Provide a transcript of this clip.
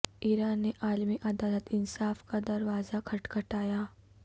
ایران نے عالمی عدالت انصاف کا دروازہ کھٹکھٹا یا